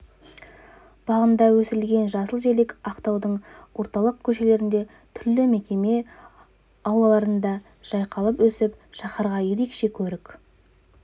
бағында өсірілген жасыл желек ақтаудың орталық көшелерінде түрлі мекеме аулаларында жайқала өсіп шаһарға ерекше көрік